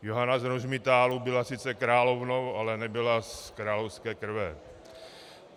Johana z Rožmitálu byla sice královnou, ale nebyla z královské krve.